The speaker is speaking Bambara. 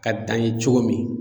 Ka dan ye cogo min.